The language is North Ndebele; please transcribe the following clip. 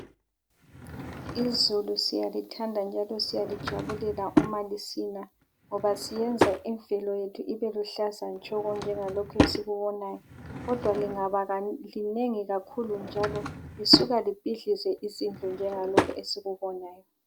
Izulu siyalithanda njalo siyalijabulela uma lisina ngoba siyenza impilo yethu ibe luhlaza tshoko njengalokhu esikubonayo. Kodwa lingabalinengi kakhulu njalo lisuka libhidlize izindlu njengalokhu esikubonayo.